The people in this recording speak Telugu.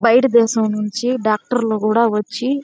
బయటి దేశం నుంచి డాక్టర్లు కూడా వచ్చి --